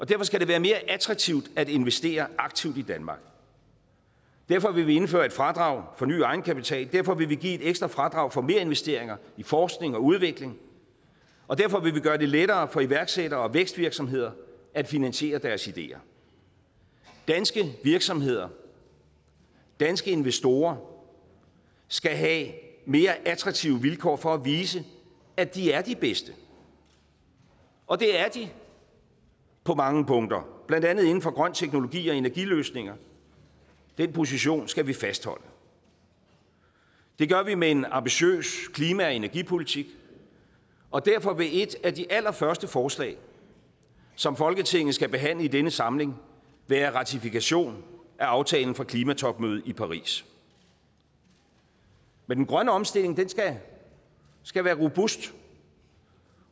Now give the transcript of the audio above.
derfor skal det være mere attraktivt at investere aktivt i danmark derfor vil vi indføre et fradrag for ny egenkapital derfor vil vi give et ekstra fradrag for merinvesteringer i forskning og udvikling og derfor vil vi gøre det lettere for iværksættere og vækstvirksomheder at finansiere deres ideer danske virksomheder danske investorer skal have mere attraktive vilkår for at vise at de er de bedste og det er de på mange punkter blandt andet inden for grøn teknologi og energiløsninger den position skal vi fastholde det gør vi med en ambitiøs klima og energipolitik og derfor vil et af de allerførste forslag som folketinget skal behandle i denne samling være ratifikation af aftalen fra klimatopmødet i paris men den grønne omstilling skal være robust